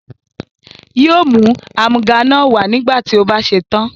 Yóò mú àmúga náà wá nígbà tí ó bá ṣe tán.